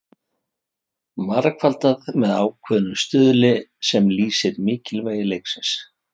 Margfaldað með ákveðnum stuðli sem lýsir mikilvægi leiksins.